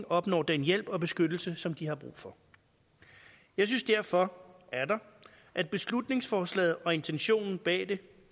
opnår den hjælp og beskyttelse som de har brug for jeg synes derfor atter at beslutningsforslaget og intentionen bag det